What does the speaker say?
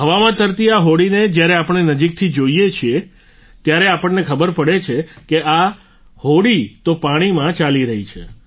હવામાં તરતી આ હોડીને જ્યારે આપણે નજીકથી જોઈએ છીએ ત્યારે આપણને ખબર પડે છે કે આ નદી તો પાણીમાં ચાલી રહી છે